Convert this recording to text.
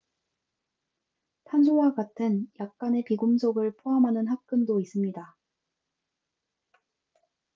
탄소와 같은 약간의 비금속을 포함하는 합금도 있습니다